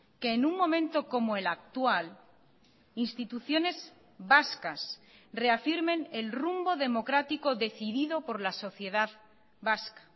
que en un momento como el actual instituciones vascas reafirmen el rumbo democrático decidido por la sociedad vasca